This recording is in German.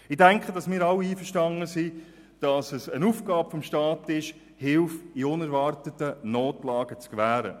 Wir sind sicher alle damit einverstanden, dass es eine Aufgabe des Staates ist, Hilfe in unerwarteten Notlagen zu gewähren.